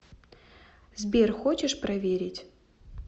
сбер хочешь проверить